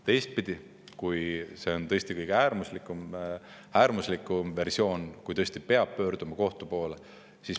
Teistpidi, kõige äärmuslikum versioon on see, et tõesti peab pöörduma kohtu poole.